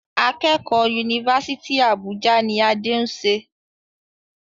Akẹ́kọ̀ọ́ Yunifásítì Àbújá ni Adé ń ṣe.